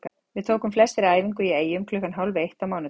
Við tókum flestir æfingu í Eyjum klukkan hálf eitt á mánudaginn.